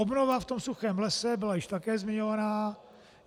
Obnova v tom suchém lese byla již také zmiňovaná.